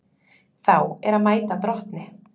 Þá er að mæta drottni.